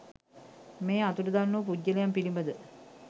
මේ අතුරුදන් වූ පුද්ගලයන් පිළිබඳ